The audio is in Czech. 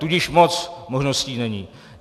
Tudíž moc možností není.